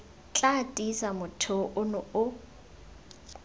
tla tiisa motheo ono o